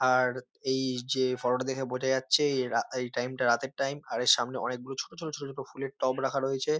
আর এই যে ফটো -টা দেখে বোঝা যাচ্ছে এই রা টাইম -টা রাতের টাইম । এর সামনে অনেক ছোট ছোট ছোট ছোট ফুলের টব রাখা রয়েছে ।